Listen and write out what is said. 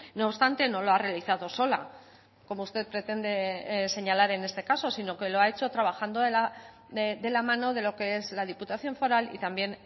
no obstante no lo ha realizado sola como usted pretende señalar en este caso sino que lo ha hecho trabajando de la mano de lo que es la diputación foral y también